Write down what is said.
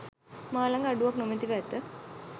මා ළඟ අඩුවක් නොමැතිව ඇත.